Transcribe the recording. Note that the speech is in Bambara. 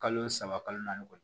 Kalo saba kalo naani kɔni